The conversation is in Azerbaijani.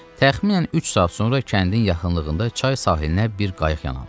Təxminən üç saat sonra kəndin yaxınlığında çay sahilinə bir qayıq yan aldı.